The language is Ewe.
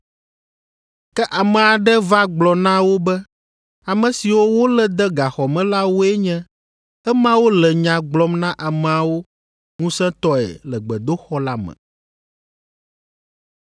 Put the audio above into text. Ke ame aɖe va gblɔ na wo be ame siwo wolé de gaxɔ me la woe nye emawo le nya gblɔm na ameawo ŋusẽtɔe le gbedoxɔ la me.